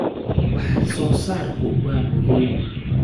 Wax soo saarku waa muhiim.